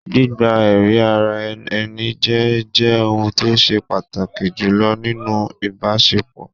Gbígba ẹ̀rí ara ẹni jẹ́ jẹ́ ohun tó ṣe pàtàkì jùlọ nínú ìbásepọ̀